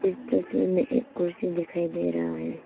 इस तस्वीर में एक कुर्सी दिखाई दे रहा है।